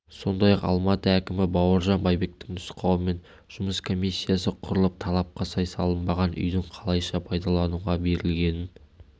сондай-ақ алматы әкімі бауыржан байбектің нұсқауымен жұмыс комиссиясы құрылып талапқа сай салынбаған үйдің қалайша пайдалануға берілгенін